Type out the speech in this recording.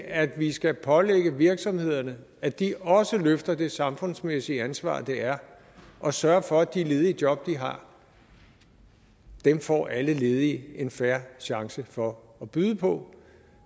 at vi skal pålægge virksomhederne at de også løfter det samfundsmæssige ansvar det er at sørge for at de ledige job de har får alle ledige en fair chance for at byde på